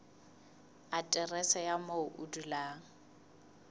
aterese ya moo o dulang